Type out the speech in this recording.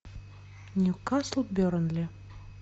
ньюкасл бернли